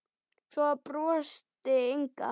Svo brosti Inga.